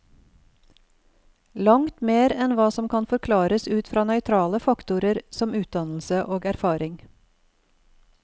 Langt mer enn hva som kan forklares ut fra nøytrale faktorer som utdannelse og erfaring.